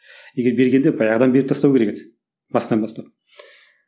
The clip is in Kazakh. егер бергенде баяғыдан беріп тастау керек еді басынан бастап